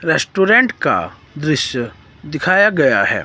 Restaurant का दृश्य दिखाया गया है।